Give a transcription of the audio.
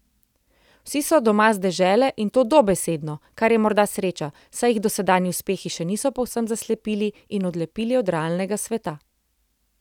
Vsi so doma z dežele, in to dobesedno, kar je morda sreča, saj jih dosedanji uspehi še niso povsem zaslepili in odlepili od realnega sveta.